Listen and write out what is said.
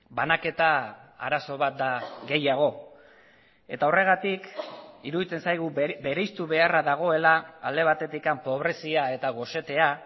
banaketa arazo bat da gehiago eta horregatik iruditzen zaigu bereiztu beharra dagoela alde batetik pobrezia eta gosetea